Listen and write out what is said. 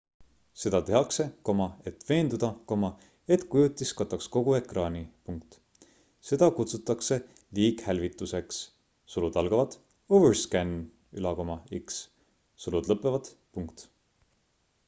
seda tehakse et veenduda et kujutis kataks kogu ekraani. seda kutsutakse liighälvituseks overscan'iks